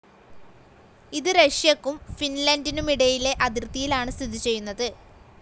ഇത് റഷ്യയ്ക്കും ഫിൻലന്റിനുമിടയിലെ അതിർഥിയിലാണ് സ്ഥിതിചെയ്യുന്നത്.